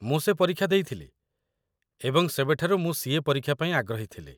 ମୁଁ ସେ ପରୀକ୍ଷା ଦେଇଥିଲି ଏବଂ ସେବେଠାରୁ ମୁଁ ସି.ଏ. ପରୀକ୍ଷା ପାଇଁ ଆଗ୍ରହୀ ଥିଲି